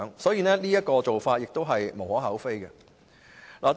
所以，一次性寬減稅款是無可厚非的。